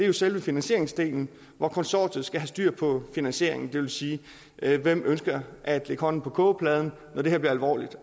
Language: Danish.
er selve finansieringsdelen hvor konsortiet skal have styr på finansieringen det vil sige hvem ønsker at lægge hånden på kogepladen når det her bliver alvorligt